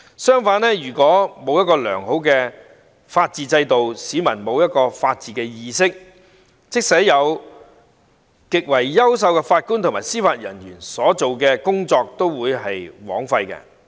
相反，如果沒有良好的法治制度，市民沒有法治意識，即使擁有極優秀的法官和司法人員，所做的工作都會白費。